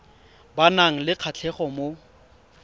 ba nang le kgatlhego mo